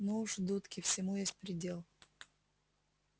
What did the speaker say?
ну уж дудки всему есть предел